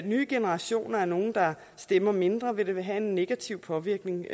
nye generationer er nogle der stemmer mindre vil det have en negativ påvirkning